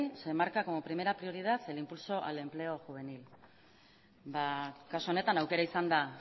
se marca como primera prioridad el impulso al empleo juvenil ba kasu honetan aukera izan da